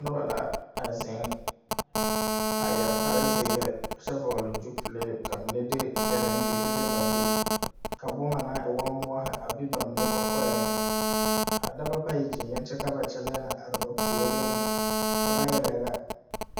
Noba la a zeŋ a yɛre kparezeere kyɛ vɔgle gyupile ka mine de gyɛreŋ gyeehi le ba gyu ka boma naŋ e woo moɔ a be ba mine kɔkɔɛŋ a dɔba bayi gyeŋeŋ kyɛ ka ba kyɛlɛɛ na are ba puoriŋ ka ba yele yɛlɛ.